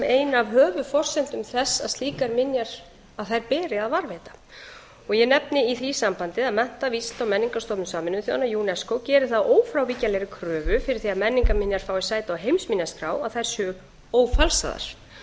ein af höfuðforsendum þess að slíkar minjar beri að varðveita ég nefni í því sambandi að mennta vísinda og menningarstofnun sameinuðu þjóðanna unesco gerir það að ófrávíkjanlegri kröfu fyrir því að menningarminjar fái sæti á heimsminjaskrá að þær séu ófalsaðar og